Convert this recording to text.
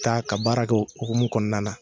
T'a ka baara kɛ O hukumu kɔnɔna na